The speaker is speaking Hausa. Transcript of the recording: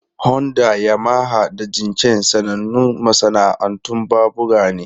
Honda, Yamaha, da Jincheng sanannun masana'antun babura ne.